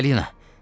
Balina!